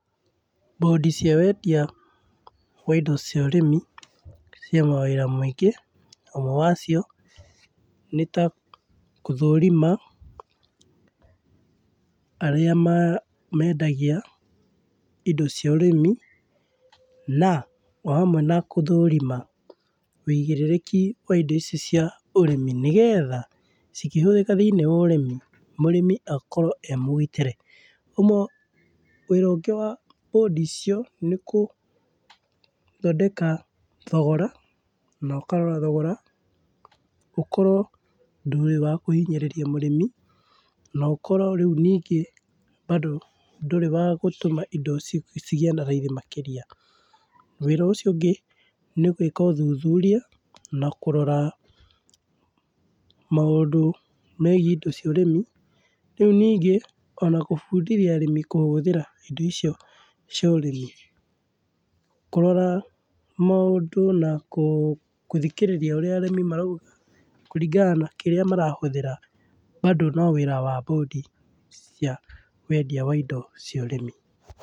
Bũndi cia wendia wa indo cia ũrĩmi, ciĩ mawĩra maingĩ na ũmwe wacio, nĩta gũthũrima aria mendagia indo cia ũrĩmi na, o hamwe na gũthũrima ũigĩrĩrĩki wa indo icio cia ũrĩmi, nĩgetha cikĩhũthĩka thĩiniĩ wa ũrĩmi mũrĩmi akorwo emũgitĩre. Wĩra ũngĩ wa bũndi icio nĩgũthondeka thogora na ũkarora thogora ũkorwo ndũrĩ wa kũhinyĩrĩria mũrĩmi na ũkorwo rĩũ ningĩ bado ndũrĩ wa gũtũma ĩndo cigĩe na raithi makĩria. Wĩra ũcio ũngĩ nĩ gwĩka ũthuthuria na kũrora maũndũ megiĩ ĩndo cia ũrĩmi, rĩu ningĩ ona gũbundithia arĩmi kũhũthĩra indo icio cia ũrĩmi. Kũrora maũndũ nakũ gũthikĩrĩria ũrĩa arĩmi marauga kũringana na kĩrĩa marahũthĩra bado no wĩra wa bũndi cia wendia waindo cia ũrĩmi.